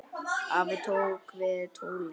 Afi tók við tólinu.